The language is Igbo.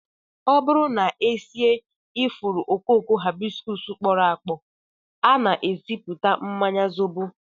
Ọ bụrụ na e sie ifuru okooko Hibiscus kpọrọ akpọ, a na-esipụta mmanya zobo